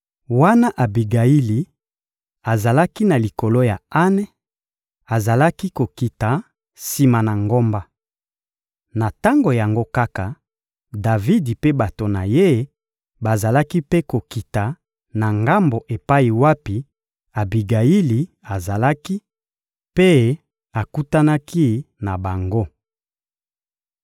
Wana Abigayili azalaki na likolo ya ane, azalaki kokita sima na ngomba. Na tango yango kaka, Davidi mpe bato na ye bazalaki mpe kokita na ngambo epai wapi Abigayili azalaki, mpe akutanaki na bango.